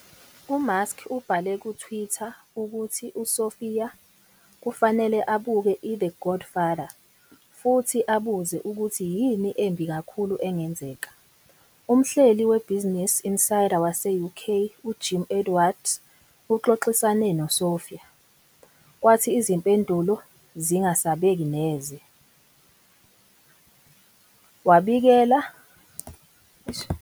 UMusk ubhale kuTwitter ukuthi uSophia kufanele abuke "iThe Godfather" futhi abuze ukuthi "yini embi kakhulu engenzeka?". Umhleli weBusiness Insider wase-UK uJim Edwards uxoxisane noSophia, kwathi izimpendulo zingasabeki neze, wabikezela ukuthi wayezothatha isinyathelo sokuba "yingxoxo yokubonisana".